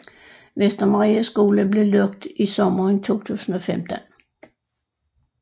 Vestermarie Skole blev lukket i sommeren 2015